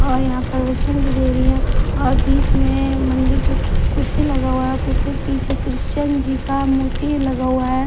और यहां प्रवचन भी दे रही है और बीच में मंदिर के कुर्सी लगा हुआ है कुर्सी के पीछे कृष्ण जी का मूर्ति लगा हुआ है।